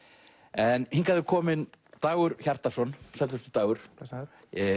en hingað er kominn Dagur Hjartarson sæll vertu Dagur blessaður